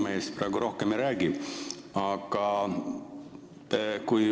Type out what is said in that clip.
Ma praegu rohkem Rapla piimamehest ei räägi.